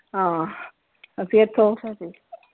ਹਾਂ, ਫਿਰ .